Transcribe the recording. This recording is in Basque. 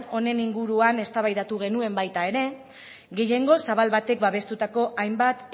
honen inguruan eztabaida genuen baita ere gehiengo zabal batek babestutako hainbat